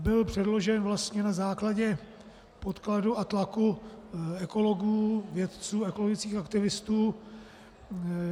Byl předložen vlastně na základě podkladu a tlaku ekologů, vědců, ekologických aktivistů.